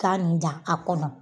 Taa nin dan a kɔnɔ